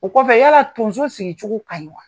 O kɔfɛ yala tonso sigicogo ka ɲi wa?